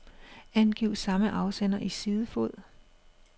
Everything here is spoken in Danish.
Angiv samme afsender i sidefod.